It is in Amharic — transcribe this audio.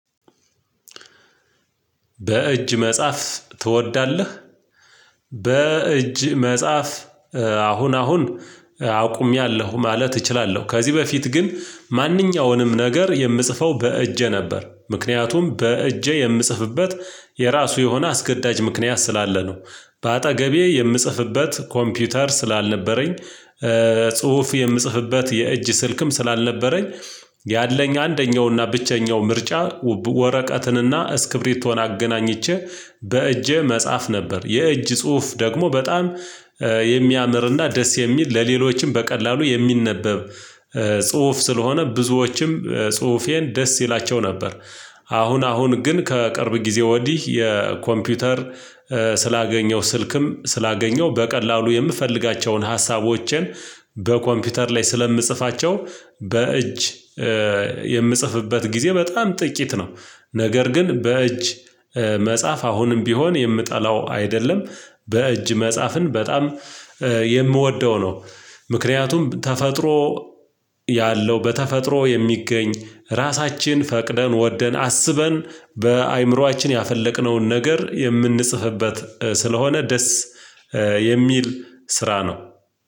በእጅ መጻፍ ትወዳለህ በእጅ መጻፍ አሁን አሁን አቁሜያለሁ ማለት እችላለሁ፤ ከዚህ በፊት ግን ማንኛውንም የምጽፈው በእጅ ነበር ምክንያቱም በእጅ የምጽፍበት የራሱ የሆነ አስገዳጅ ምክንያት ስላለ ነው በአጠገቤ የምጽፍበት ኮምፒውተር ስላልነበረኝ ጽሁፍ የምጽፍበት የእጅ ስልክም ስላልነበረኝ ያለኝ አንደኛውና ብቸኛው ምርጫ ወረቀትንና እስክብሪቶን አገናኝቼ በእጄ መጻፍ ነበር የእጅ ጽሁፍ ደግሞ በጣም ደስ የሚል ለሌሎችም በቀላሉ የሚነበብ ጽሁፍ ስለሆነ ብዙዎችም ጽሁፌን ደስ ይላቸው ነበር። አሁን አሁን ግን ከቅርብ ጊዜ ወዲህ የኮምፒውተር ስላገኘሁ ስልክም ስላገኘሁ በቀላሉ የምፈልጋቸውን ሀሳቦቼን በኮምፒውተር ላይ ስለምጽፋቸው በእጅ የምጽፍበት ጊዜ በጣም ጥቂት ነው ነገር ግን በእጅ መጻፍ አሁንም ቢሆን የምጠላው አይደለም በእጅ መጻፍን በጣም የምወደው ነው ምክንያቱም ተፈጥሮ ያለው በተፈጥሮ የሚገኝ ራሳችን ፈቅደን ወደን አስበን በአእምሮአችን ያፈለቅነውን ነገር የምንጽፍበት ስለሆነ ደስ የሚል ስራ ነው።